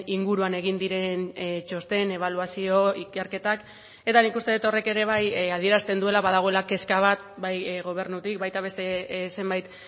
inguruan egin diren txosten ebaluazio ikerketak eta nik uste dut horrek ere bai adierazten duela badagoela kezka bat bai gobernutik baita beste zenbait